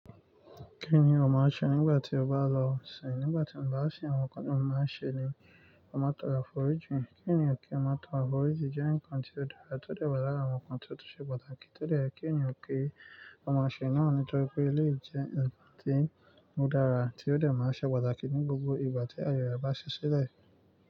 Kí ni o máa ṣe nígbà tí o bá lọ sin? Nígbà tí mo bá sin, àwọn nǹkan tí mo máa ń ṣe ni mo máa toro àforíjìn Kí eniyan ki o máa toro àforíjn jẹ́ nnkan tí ó dára, tó dẹ̀ wà lára àwọn ǹktan tí ó tó ṣe pàtàkì. Tó dẹ̀ ye kí ènìyàn ki ọ maa ṣe náà nítorí pé eléyìí jẹ́ nnkan tí o dára, tí ó dẹ̀ máa ṣe pàtàkì ní gbogbo ìgbà tí aayẹ rẹ bá ṣi ṣilẹ̀.